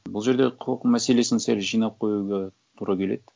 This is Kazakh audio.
бұл жерде құқық мәселесін сәл жинап қоюға тура келеді